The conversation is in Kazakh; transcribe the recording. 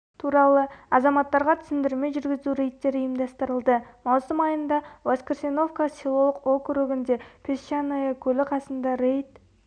туралы азаматтарға түсіндірме жүргізу рейдтері ұйымдастырылды мамусым айында воскресеновка селолық округінде песчаное көлі касында рейд